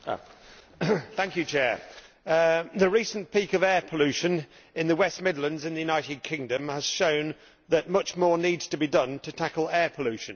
Mr President, the recent peak of air pollution in the West Midlands in the United Kingdom has shown that much more needs to be done to tackle air pollution.